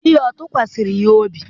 di ya ọ̀ tụkwasịrị ya obi?